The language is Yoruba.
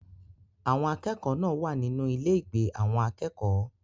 Àwọn akẹ́kọ̀ọ́ náà wà nínú ilé-ìgbé àwọn akẹ́kọ̀ọ́.